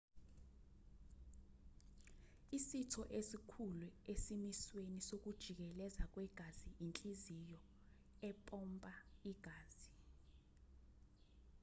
isitho esikhulu esimisweni sokujikeleza kwegazi inhliziyo empompa igazi